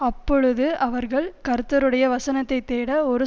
அப்பொழுது அவர்கள் கர்த்தருடைய வசனத்தைத் தேட ஒரு